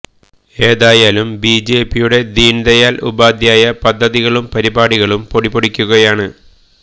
ഏതായാലും ബിജെപിയുടെ ദീന് ദയാല് ഉപാദ്ധ്യായ പദ്ധതികളും പരിപാടികളും പൊടിപൊടിക്കുകയാണ്